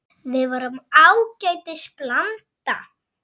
Við vorum ágætis blanda.